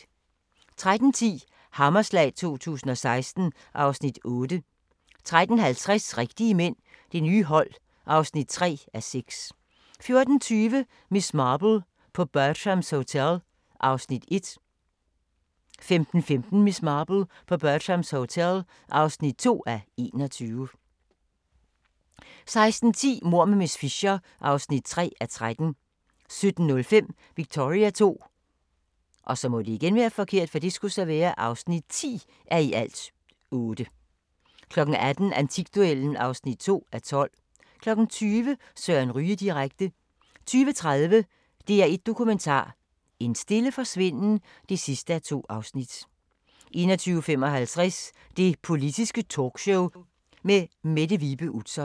13:10: Hammerslag 2016 (Afs. 8) 13:50: Rigtige mænd – det nye hold (3:6) 14:20: Miss Marple: På Bertram's Hotel (1:21) 15:15: Miss Marple: På Bertram's Hotel (2:21) 16:10: Mord med miss Fisher (3:13) 17:05: Victoria II (10:8) 18:00: Antikduellen (2:12) 20:00: Søren Ryge direkte 20:30: DR1 Dokumentar: En stille forsvinden (2:2) 21:55: Det Politiske Talkshow med Mette Vibe Utzon